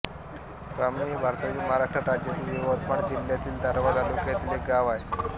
ब्राम्ही हे भारतातील महाराष्ट्र राज्यातील यवतमाळ जिल्ह्यातील दारव्हा तालुक्यातील एक गाव आहे